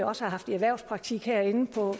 også har haft i erhvervspraktik herinde på